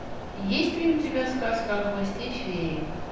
есть ли у тебя сказка о хвосте феи